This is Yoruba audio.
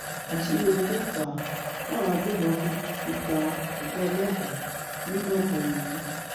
àṣírí ohun tó fà á táwọn agbébọn fi pa ọgá ọlọpàá nìgangan nìyí